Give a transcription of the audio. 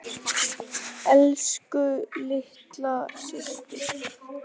Elsku litla systir.